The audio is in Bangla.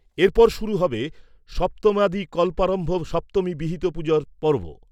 এরপর শুরু হবে সপ্তম্যাদী কল্পারম্ভ সপ্তমী বিহিত পুজোর পর্ব।